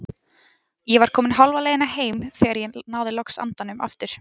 Ég var komin hálfa leiðina heim þegar ég náði loks andanum aftur.